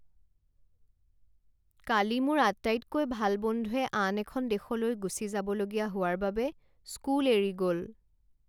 কালি মোৰ আটাইতকৈ ভাল বন্ধুৱে আন এখন দেশলৈ গুচি যাবলগীয়া হোৱাৰ বাবে স্কুল এৰি গ'ল।